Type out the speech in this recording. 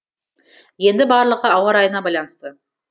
енді барлығы ауа райына байланысты